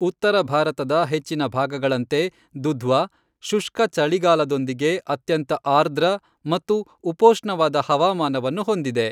ಉತ್ತರ ಭಾರತದ ಹೆಚ್ಚಿನ ಭಾಗಗಳಂತೆ, ದುಧ್ವಾ ಶುಷ್ಕ ಚಳಿಗಾಲದೊಂದಿಗೆ ಅತ್ಯಂತ ಆರ್ದ್ರ ಮತ್ತು ಉಪೋಷ್ಣವಾದ ಹವಾಮಾನವನ್ನು ಹೊಂದಿದೆ.